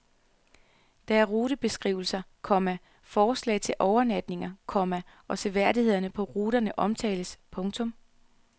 Der er rutebeskrivelser, komma forslag til overnatninger, komma og seværdighederne på ruterne omtales. punktum